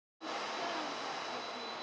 Þetta hefur eitthvað lagast með tímanum.